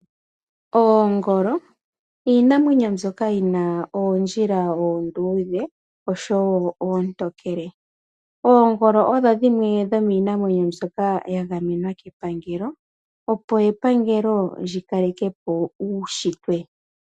Oomgolo iinamwenyo mbyoka yina oondjila oonduudhe osho woo oontokele. oomgolo odho dhimwe dho miinamwenyo mbyoka ya gamenwa kepangelo opo eppangeleo lyi kalekepo uushitwe.